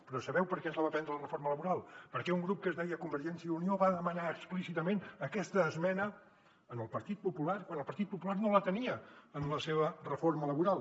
però sabeu per què ens la va prendre la reforma laboral perquè un grup que es deia convergència i unió va demanar explícitament aquesta esmena al partit popular quan el partit popular no la tenia en la seva reforma laboral